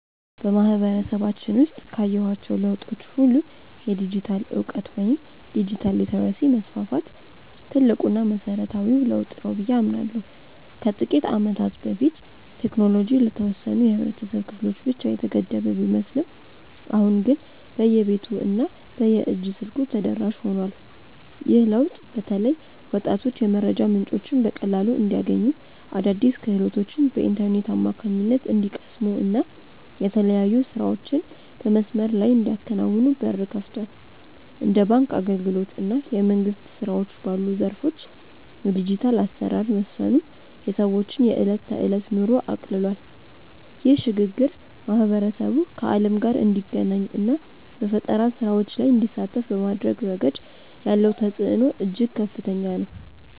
በማህበረሰባችን ውስጥ ካየኋቸው ለውጦች ሁሉ የዲጂታል እውቀት ወይም ዲጂታል ሊተረሲ መስፋፋት ትልቁና መሰረታዊው ለውጥ ነው ብዬ አምናለሁ። ከጥቂት ዓመታት በፊት ቴክኖሎጂ ለተወሰኑ የህብረተሰብ ክፍሎች ብቻ የተገደበ ቢመስልም አሁን ግን በየቤቱ እና በየእጅ ስልኩ ተደራሽ ሆኗል። ይህ ለውጥ በተለይ ወጣቶች የመረጃ ምንጮችን በቀላሉ እንዲያገኙ፣ አዳዲስ ክህሎቶችን በኢንተርኔት አማካኝነት እንዲቀስሙ እና የተለያዩ ስራዎችን በመስመር ላይ እንዲያከናውኑ በር ከፍቷል። እንደ ባንክ አገልግሎት እና የመንግስት ስራዎች ባሉ ዘርፎች የዲጂታል አሰራር መስፈኑ የሰዎችን የዕለት ተዕለት ኑሮ አቅልሏል። ይህ ሽግግር ማህበረሰቡ ከዓለም ጋር እንዲገናኝ እና በፈጠራ ስራዎች ላይ እንዲሳተፍ በማድረግ ረገድ ያለው ተጽዕኖ እጅግ ከፍተኛ ነው።